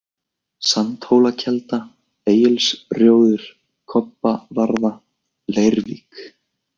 Sandhólakelda, Egilsrjóður, Kobbavarða, Leirvik